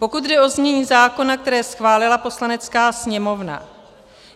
Pokud jde o znění zákona, které schválila Poslanecká sněmovna.